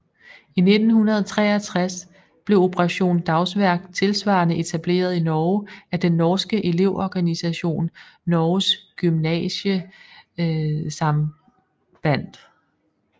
I 1963 blev Operasjon Dagsverk tilsvarende etableret i Norge af den norske elevorganisationen Norges Gymnasiastsamband